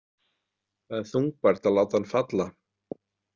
Það er þungbært að láta hann falla.